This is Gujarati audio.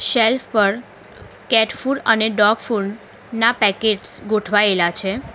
શેલ્ફ પર કેટ ફૂડ અને ડોગ ફૂડ ના પેકેટ્સ ગોઠવાયેલા છે.